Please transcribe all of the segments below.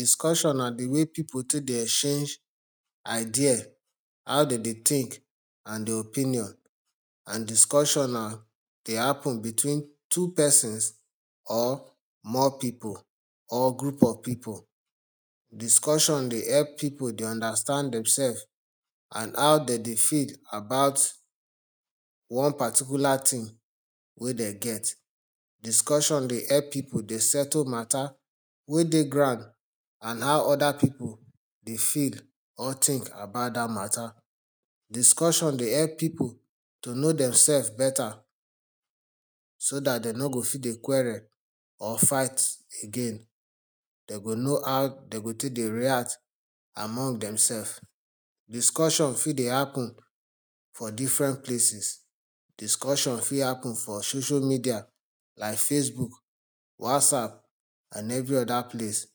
Discussion na de way people take dey exchange ideas, how dem de think and their opinion and discussion dey happen between two persons or more people or group of people. Discussion dey help people dey understand themselves and how dem dey feel about one particular thing wey dem get. Discussion dey help people dey settle matter wey dey ground and how other people dey feel or think about dat matter. Discussion dey help people to know themselves beta, so dat dem no go fit dey quarrel or fight again, dem go know how dem go take dey react among themselves. Discussion fit dey happen for different places. Discussion fit happen for social media like facebook, whatsapp and every other place.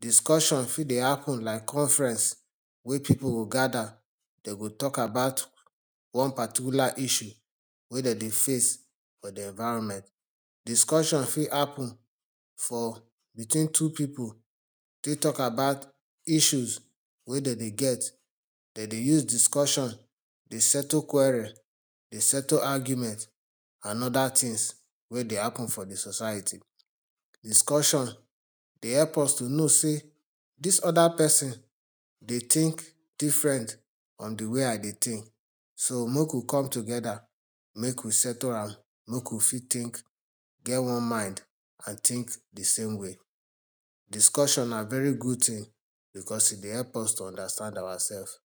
Discussion fit dey happen like conference, wey people go gather, dem go talk about one particular issue wey dem dey face for de environment. Discussion fit happen for between two people take talk about issues wey dem de get. Dem dey use discussion dey settle quarrel, dey settle arguments and other things wey de happen for de society. Discussion dey help us to know sey, dis other person dey think different from de way I dey think so make we come together, make we settle am, make we fit think, get one mind and think de same way. Discussion na very good thing, because e dey help us understand ourself.